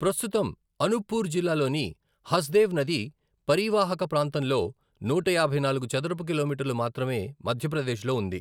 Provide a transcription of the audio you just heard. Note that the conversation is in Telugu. ప్రస్తుతం, అనూప్పూర్ జిల్లాలోని హస్దేవ్ నది పరీవాహక ప్రాంతంలో నూట యాభై నాలుగు చదరపు కిలోమీటర్లు మాత్రమే మధ్యప్రదేశ్లో ఉంది.